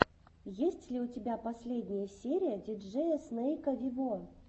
есть ли у тебя последняя серия диджея снейка вево